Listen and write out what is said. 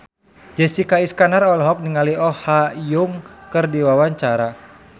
Jessica Iskandar olohok ningali Oh Ha Young keur diwawancara